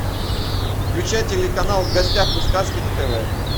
включай телеканал в гостях у сказки на тв